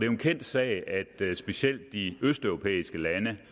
en kendt sag at specielt de østeuropæiske lande